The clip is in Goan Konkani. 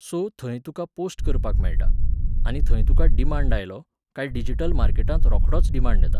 सो, थंय तुका पोस्ट करपाक मेळटा, आनी थंय तुका डिमाण्ड आयलो, काय डिजिटल मार्केटांत रोखडोच डिमाण्ड येता.